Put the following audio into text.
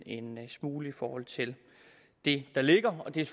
en smule i forhold til det der ligger det er